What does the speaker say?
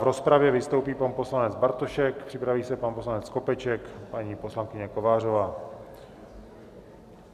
V rozpravě vystoupí pan poslanec Bartošek, připraví se pan poslanec Skopeček, paní poslankyně Kovářová.